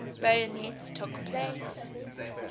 bayonets took place